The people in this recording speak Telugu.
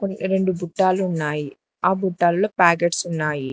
రెండు పుట్టాలు ఉన్నాయి ఆ బుట్టాల్లో పాకెట్స్ ఉన్నాయి.